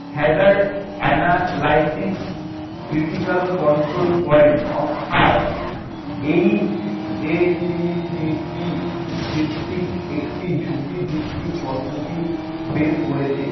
hazard analysis critical control point অর্থাৎ, HACCP ভিত্তিক একটি ঝুঁকিভিত্তিক পদ্ধতি বের করেছে।